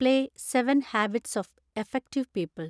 play seven habits of effective people